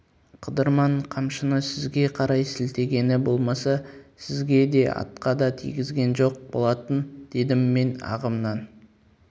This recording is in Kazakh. қыдырман қамшыны сізге қарай сілтегені болмаса сізге де атқа да тигізген жоқ болатын дедім мен ағымнан